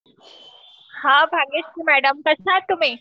हां, भाग्यश्री मॅडम कश्याआहात तुम्ही